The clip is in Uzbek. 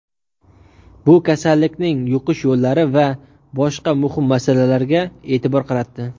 bu kasallikning yuqish yo‘llari va boshqa muhim masalalarga e’tibor qaratdi.